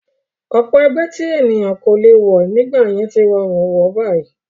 Ọ̀pọ̀ ẹgbẹ́ tí ènìyàn kò lè wọ̀ nígbà yẹn tí rọrùn wọ̀ báyìí